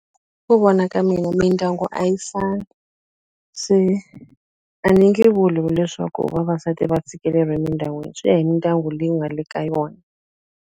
Ku vona ka mina mindyangu a yi fani se a ni nge vuli leswaku vavasati va tshikeleriwa emindyangwini swi ya hi mindyangu leyi u nga le ka yona.